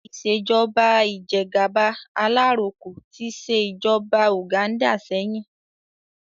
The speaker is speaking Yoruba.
Ìṣèjọ́ba ìjẹ́gàba alaroko tí ṣe ìjọba Uganda sẹ́yìn